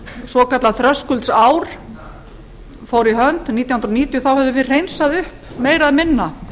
svokallað þröskuldsár fór í hönd nítján hundruð níutíu þá höfðum við hreinsað upp meira og minna